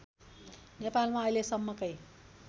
नेपालमा अहिलेसम्मकै